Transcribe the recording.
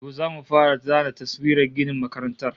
To, zamu fara zana taswirar ginin makarantar